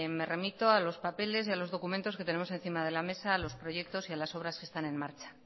me remito a los papeles y a los documentos que tenemos encima de la mesa a los proyectos y a las obras que están en marcha